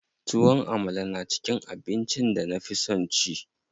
Tuwon Amala na cikin abincin da na fi son ci.